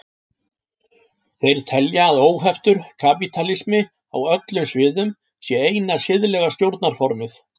Þeir telja að óheftur kapítalismi á öllum sviðum sé eina siðlega stjórnarformið.